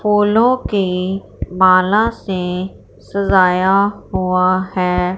फूलों के माला से सजाया हुआ है।